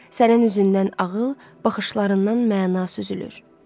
Sənin üzündən ağıl, baxışlarından məna süzülür.